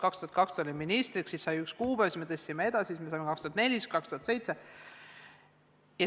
2002. aastal olin minister, tookord sai paika üks kuupäev, siis me tõstsime seda edasi, algul oli see 2004, siis 2007.